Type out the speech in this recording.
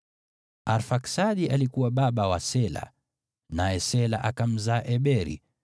Arfaksadi alikuwa baba wa Shela, naye Shela akamzaa Eberi.